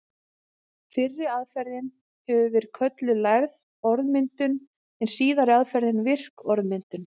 Fyrri aðferðin hefur verið kölluð lærð orðmyndun en síðari aðferðin virk orðmyndun.